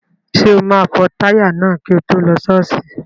Ṣé o máa fọ táyà náà kí o tó lọ ṣọ́ọ̀ṣì?